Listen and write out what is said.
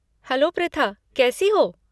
Hello Pritha, कैसी हो?